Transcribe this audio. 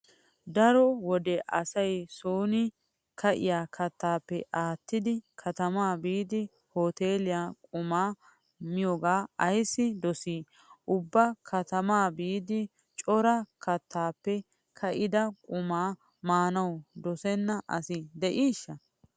Daro wode asay sooni ka'iya kattaappe aattidi katamaa biidi hoteeliyan qumaa miyogaa ayssi dosii? Ubba katamaa biidi cora kattaappe ka'ida qumaa maanawu dosenna asi de'iishsha?